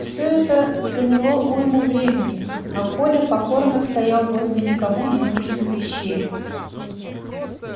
всё это заняло уйму времени а коля покорно стоял возле никому не нужных вещей